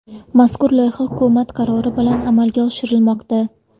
Mazkur loyiha hukumat qarori bilan amalga oshirilmoqda.